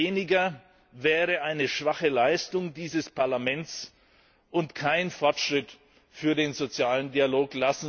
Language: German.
Weniger wäre eine schwache Leistung dieses Parlaments und kein Fortschritt für den sozialen Dialog.